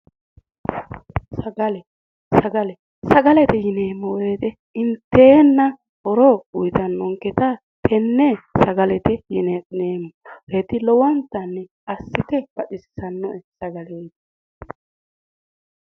Sagale sagalete yineemmo woyiite inteenna horo uuyitannonketa tenne sagalete yineemmoreeti lowontanni assite baxissannoe sagaleeti